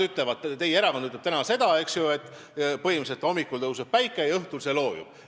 Teie erakond ütleb täna põhimõtteliselt seda, eks ju, et hommikul tõuseb päike ja õhtul see loojub.